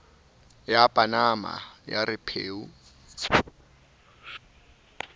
ya panama ya re pheu